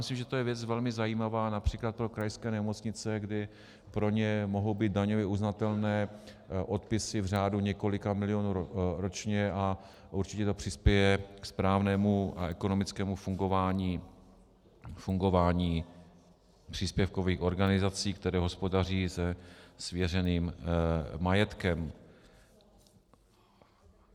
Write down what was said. Myslím, že to je věc velmi zajímavá například pro krajské nemocnice, kdy pro ně mohou být daňově uznatelné odpisy v řádu několika milionů ročně, a určitě to přispěje ke správnému a ekonomickému fungování příspěvkových organizací, které hospodaří se svěřeným majetkem.